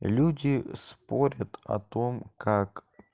люди спорят о том как